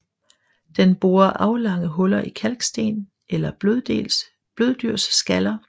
Den borer aflange huller i kalksten eller bløddyrskaller